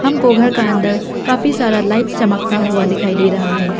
वो घर का अंदर काफी सारा लाइट चमकता हुआ दिखाई दे रहा है।